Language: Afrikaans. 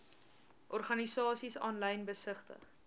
organisasies aanlyn besigtig